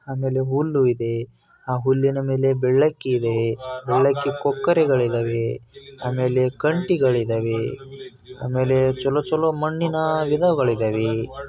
ಆಮೇಲೆ ಹುಲ್ಲು ಇದೆ. ಆ ಹುಲ್ಲಿನ ಮೇಲೆ ಬೆಳ್ಳಕ್ಕಿದೆ ಬೆಳ್ಳಕ್ಕಿ ಕೊಕ್ಕರೆಗಳಿದವೆ. ಆಮೇಲೆ ಕಂಟಿಗಳಿದವೆ. ಆಮೇಲೆ ಚಲೋ ಚಲೋ ಮಣ್ಣಿನ ಗಿಡಗಳಿದವೆ.